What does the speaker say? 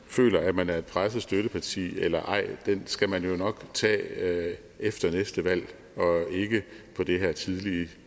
føler at man er et presset støtteparti eller ej skal man jo nok tage efter næste valg og ikke på det her tidlige